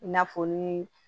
I na fɔ ni